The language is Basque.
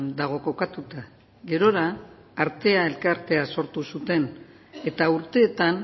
dago kokatuta gerora artea elkartea sortu zuten eta urteetan